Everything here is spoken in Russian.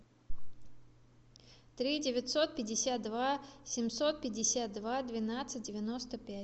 три девятьсот пятьдесят два семьсот пятьдесят два двенадцать девяносто пять